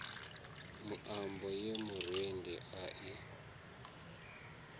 muambo ye murendi a i